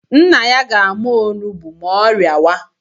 Nna ya ga-ama onugbu ma ọ rịawa